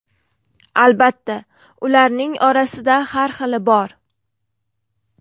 Albatta, ularning orasida har xili bor.